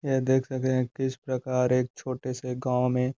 ये देख सके हैं किस प्रकार एक छोटे से गाँव में --